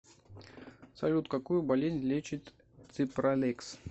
салют какую болезнь лечит ципралекс